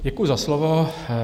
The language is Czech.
Děkuji za slovo.